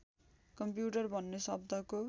computer भन्ने शब्दको